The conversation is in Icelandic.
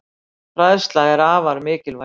Fræðsla er afar mikilvæg.